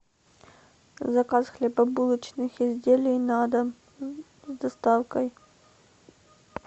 заказ хлебобулочных изделий на дом с доставкой